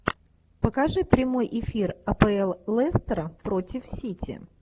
покажи прямой эфир апл лестера против сити